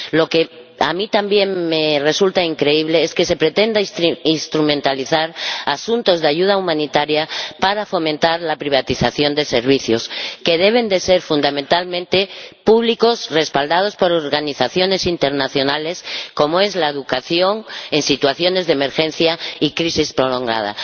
Lo que a mí también me resulta increíble es que se pretenda instrumentalizar asuntos de ayuda humanitaria para fomentar la privatización de servicios ―que deben ser fundamentalmente públicos, respaldados por organizaciones internacionales― como la educación en situaciones de emergencia y crisis prolongadas.